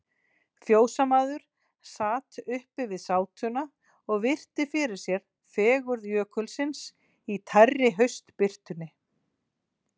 Fjósamaður sat uppi við sátuna og virti fyrir sér fegurð Jökulsins í tærri haustbirtunni.